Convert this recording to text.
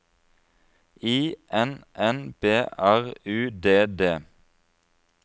I N N B R U D D